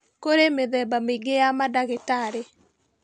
Kũrĩ mĩthemba mĩingĩ ya mandagĩtarĩ